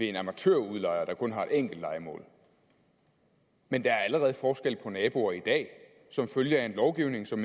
en amatørudlejer der kun har et enkelt lejemål men der er allerede forskel på naboer i dag som følge af en lovgivning som